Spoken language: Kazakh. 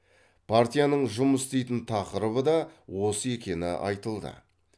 партияның жұмыс істейтін тақырыбы да осы екені айтылды